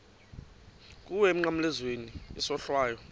kuwe emnqamlezweni isohlwayo